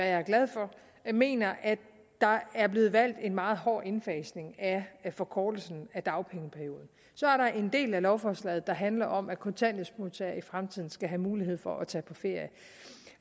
jeg er glad for mener at der er blevet valgt en meget hård indfasning af forkortelsen af dagpengeperioden så er der en del af lovforslaget der handler om at kontanthjælpsmodtagere i fremtiden skal have mulighed for at tage på ferie